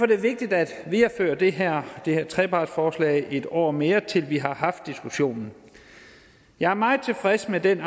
det vigtigt at videreføre det her trepartsforslag en år mere til vi har haft diskussionen jeg er meget tilfreds med den